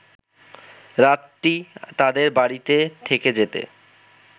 রাতটি তাদের বাড়িতে থেকে যেতে